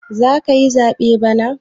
Zakayi zaɓe bana?